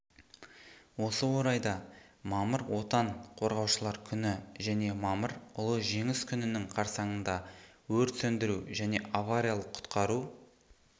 осы орайда мамыр отан қорғаушылар күні және мамыр ұлы жеңіс күнінің қарсаңында өрт сөндіру және авариялық-құтқару